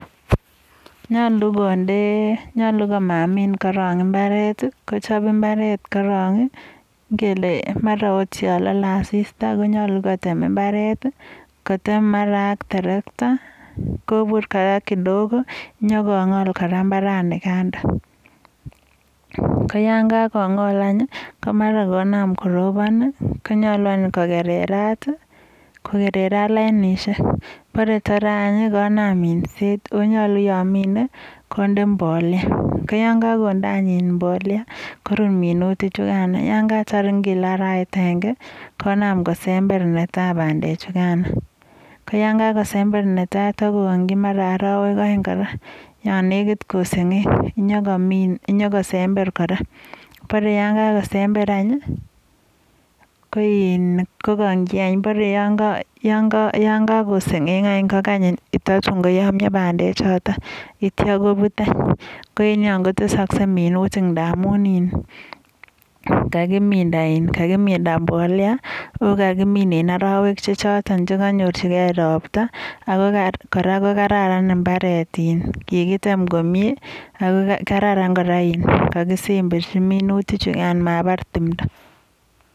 Kolu konde, nyalu komamin korok imbaret, kochob imbaret korok, ngele mara akot yo lalei asista konyalu kotem imbaret, kotem mara ak terakta, kobur kora kidogo, nyokong'ol kara imbarani. Ko yonkakong'ol anyun komara konam korobon. Konyolu anyun kokererat lainishek, borai tarei anyun konam minset.ko yaminei konde mbolea, ko yon kakonde anyun mbolea, korup minutichukan. Yonkatar ngele arawet agenge, konam kosember netai pandechukano. Yekakosember netai, kokang'chi mara arowek oeng kora, yo negit koseng'eng yokosember kora. Borei yon kakosember anyun kokang'chi barei yon kako seng'eng anyun kokany tatun koyamio pandechotok yeityo kobut anyun. koenyon kotesoskei minutik amum kakimind mbolea ako kakikang'chi en arowek chechotok che kanyorchikei robta. Neityo kokararan imbaret, kikitem komie ako karran kora koka kisemberchi minutichukan mabar timto.